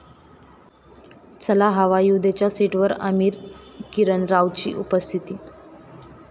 चला हवा येऊ द्या'च्या सेटवर आमिर, किरण रावची उपस्थिती